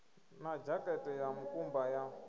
na dzhakate ya mukumba ya